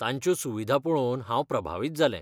तांच्यो सुविधा पळोवन हांव प्रभावित जालें.